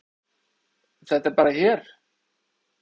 Þetta er bara hér.